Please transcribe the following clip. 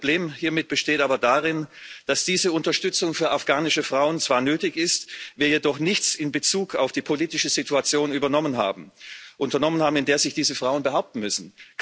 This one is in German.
Mein Problem hiermit besteht aber darin, dass diese Unterstützung für afghanische Frauen zwar nötig ist, wir jedoch nichts in Bezug auf die politische Situation unternommen haben, in der sich diese Frauen behaupten müssen.